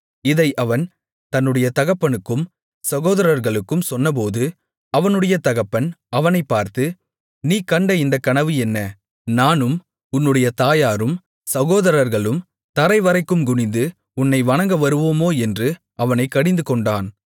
இதை அவன் தன்னுடைய தகப்பனுக்கும் சகோதரர்களுக்கும் சொன்னபோது அவனுடைய தகப்பன் அவனைப் பார்த்து நீ கண்ட இந்தக் கனவு என்ன நானும் உன்னுடைய தாயாரும் சகோதரர்களும் தரைவரைக்கும் குனிந்து உன்னை வணங்கவருவோமோ என்று அவனைக் கடிந்துகொண்டான்